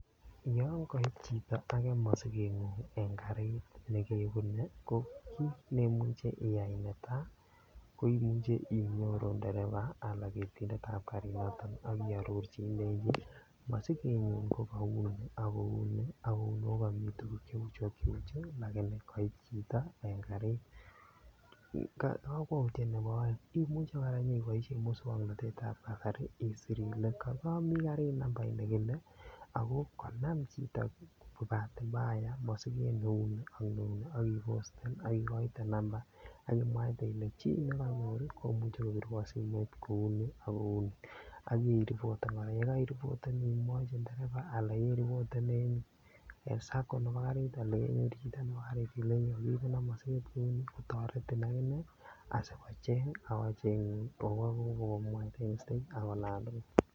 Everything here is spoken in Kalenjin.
Yoon koib chito akee mosikengung en karit nekebune ko kiit nemuche iyai neta ko imuche inyoru ndereba alaan ketindetab karinoton ak iororchi ilenchi masikeyun ko kauni ak kouni ak kouni ako komii tukuk cheuchu ak cheuchu lakini koib chito en karit, kakwoutiet nebo oeng imuche kora inyoiboishen muswoknotetab kasari isir ilee komii karit nambait nekile ak ko kanam chito kibatimbaya mosiket neuni ak neuni ak iposten ak ikoite namba akimwaite ilee chii nekonyor komuche kobirwon simoit kouni ak kouni ak iripoten, yekoiriboten imwochi ndereba anan iripoten en sacco nebo karit anan kenyor chito nebo kariit ileini kokiibenon mosiket kouni kotoretin akinee asikocheng ak kochengun ak ko komwwoiteun en olantukul.